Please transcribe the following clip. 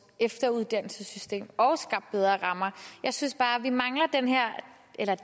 efteruddannelsessystem og skabt bedre rammer jeg synes bare at vi mangler